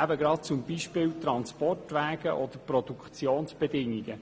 eben gerade zum Beispiel Transportwege oder Produktionsbedingungen.